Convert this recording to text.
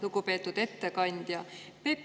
Lugupeetud ettekandja!